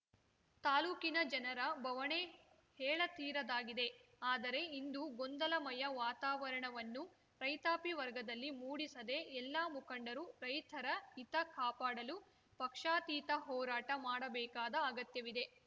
ತಾಲೂಕಿನ ಜನರ ಭವಣೆ ಹೇಳತೀರದಾಗಿದೆ ಆದರೆ ಇಂದು ಗೊಂದಲಮಯ ವಾತಾವರಣವನ್ನು ರೈತಾಪಿ ವರ್ಗದಲ್ಲಿ ಮೂಡಿಸದೇ ಎಲ್ಲ ಮುಖಂಡರು ರೈತರ ಹಿತಕಾಪಾಡಲು ಪಕ್ಷಾತೀತ ಹೋರಾಟ ಮಾಡಬೇಕಾದ ಅಗತ್ಯವಿದೆ